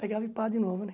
Pegava e pá de novo, né?